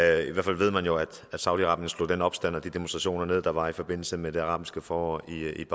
i hvert fald ved man jo at saudi arabien slog den opstand og de demonstrationer der var i forbindelse med det arabiske forår i